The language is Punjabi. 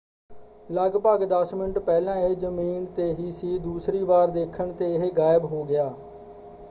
ਲੱਗਭਗ ਦੱਸ ਮਿੰਟ ਪਹਿਲਾਂ ਇਹ ਜ਼ਮੀਨ 'ਤੇ ਹੀ ਸੀ ਦੂਸਰੀ ਵਾਰ ਦੇਖਣ 'ਤੇ ਇਹ ਗਾਇਬ ਹੋ ਗਿਆ।